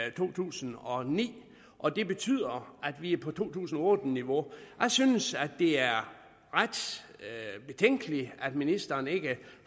i to tusind og ni og det betyder at vi er på to tusind og otte niveau jeg synes det er ret betænkeligt at ministeren ikke